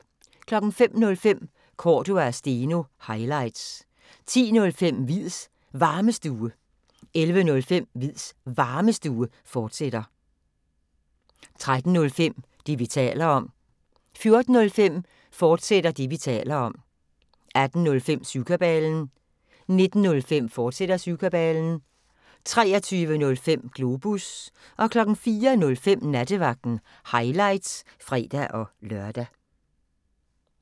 05:05: Cordua & Steno – highlights 10:05: Hviids Varmestue 11:05: Hviids Varmestue, fortsat 13:05: Det, vi taler om 14:05: Det, vi taler om, fortsat 18:05: Syvkabalen 19:05: Syvkabalen, fortsat 23:05: Globus 04:05: Nattevagten – highlights (fre-lør)